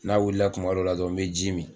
N'a wilila kuma dɔ la dɔrɔn me ji min.